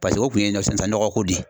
o kun ye nɔgɔko de ye